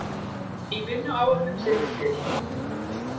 Í vinnuáætlun sinni til